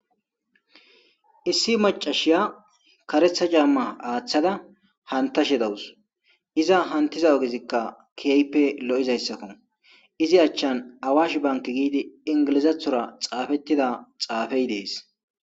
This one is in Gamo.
Issi macashiya karetha jamma aaththada hantashe dawus iza hantiza ogezikka kieype lo'izayssakko izi achchan awash bank giidi ingilizathora xaafettida xaafey dees.